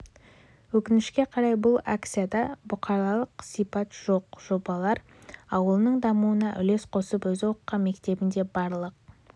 өкінішке қарай бұл акцияда бұқаралық сипат жоқ жобалар жоқ емес алайда олардың көлемі шағын ал бізге